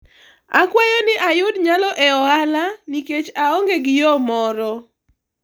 akwayo ni ayud nyalo e ohala ni nikech aonge gi yo moro